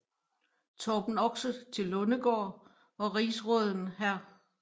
Torben Oxe til Lundegård og rigsråden hr